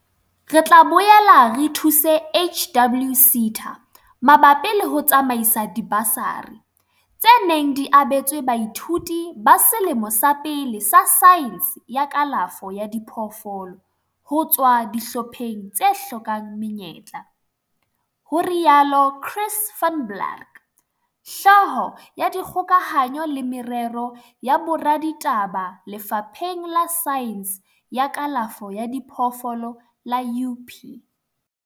"Re tla boela re thuse HWSETA mabapi le ho tsamaisa dibasari, tse neng di abetswe baithuti ba selemo sa pele sa saense ya kalafo ya diphoofolo ho tswa dihlopheng tse hlokang menyetla," ho rialo Chris van Blerk, Hlooho ya Dikgokahanyo le Merero ya Boraditaba Lefapheng la Saense ya Kalafo ya Diphoofolo la UP.